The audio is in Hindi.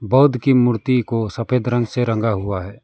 बौद्ध की मूर्ति को सफेद रंग से रंगा हुआ हैं।